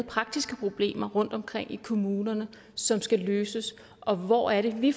praktiske problemer rundtomkring i kommunerne som skal løses og hvor er det at vi